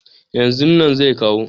yanzu nan zai kawo